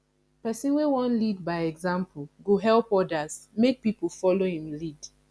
pesin wey wan lead by example go help odas make pipo folo im lead